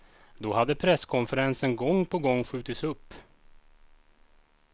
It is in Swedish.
Då hade presskonferensen gång på gång skjutits upp.